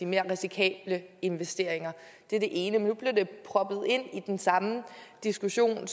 mere risikable investeringer det er det ene men nu blev det proppet ind i den samme diskussion